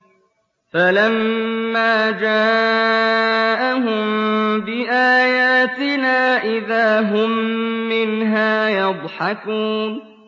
فَلَمَّا جَاءَهُم بِآيَاتِنَا إِذَا هُم مِّنْهَا يَضْحَكُونَ